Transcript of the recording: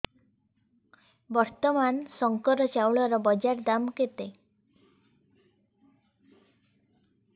ବର୍ତ୍ତମାନ ଶଙ୍କର ଚାଉଳର ବଜାର ଦାମ୍ କେତେ